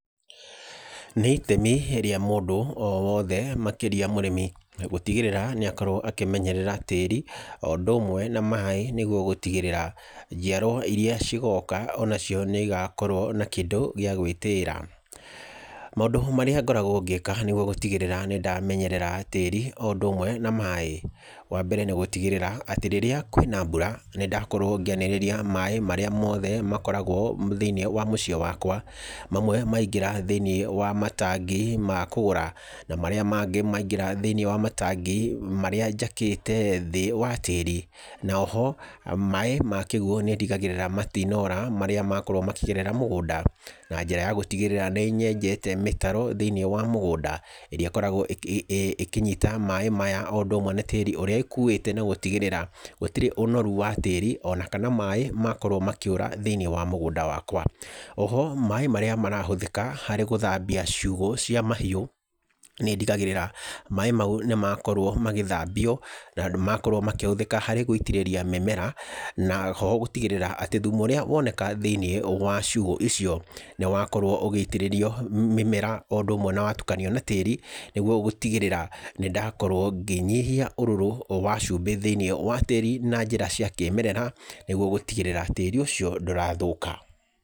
Nĩ itemi rĩa mũndũ o wothe makĩria mũrĩmi gũtigĩrĩra nĩ akorwo akĩmenyerera tĩĩri o ũndũ ũmwe na maĩ nĩguo gũtigĩrĩra njiarwa irĩa cigoka onacio nĩ igakorwo na kĩndũ gĩa gwĩtĩĩra. Maũndũ marĩa ngoragwo ngĩka nĩguo gũtigĩrĩra nĩ ndamenyerera tĩĩri o ũndũ ũmwe na maĩ: Wa mbere nĩ gũtigĩrĩra atĩ rĩrĩa kwĩna mbura nĩ ndakorwo ngĩanĩrĩria maĩ marĩa mothe makoragwo thĩinĩ wa mũciĩ wakwa. Mamwe maingĩra thĩinĩ wa matangi ma kũgũra na marĩa mangĩ maingĩra thĩinĩ wa matangĩ marĩa njakĩte thĩ wa tĩĩri. Na oho maĩ ma kĩguo nĩ ndigagĩrĩra matinora marĩa makorwo makĩgerera mũgũnda, na njĩra ya gũtigĩrĩra nĩ nyenjete mĩtaro thĩinĩ wa mũgũnda, ĩrĩa ĩkoragwo ĩkĩnyita maĩ maya, o ũndũ ũmwe na tĩĩri ũrĩa ĩkuĩte na gũtigĩrĩra gũtirĩ ũnoru wa tĩĩri ona kana maĩ makorwo makĩũra thĩinĩ wa mũgũnda wakwa. Oho maĩ marĩa marahũthĩka harĩ gũthambia ciugũ cia mahiũ nĩ ndigagĩrĩra maĩ mau nĩ makorwo magĩthambio na nĩ makorwo makĩhũthĩka harĩ gũitĩrĩria mĩmera. Na oho gũtigĩrĩra atĩ thumu ũrĩa woneka thĩinĩ wa ciugũ icio nĩ wakorwo ũgĩitĩrĩrio mĩmera o ũndũ ũmwe na watukanio na tĩĩri. Nĩguo gũtigĩrĩra nĩ ndakorwo ngĩnyihia ũrũrũ wa cumbĩ thĩinĩ wa tĩĩri na njĩra cia kĩĩmerera, nĩguo gũtigĩrĩra tĩĩri ũcio ndũrathũka.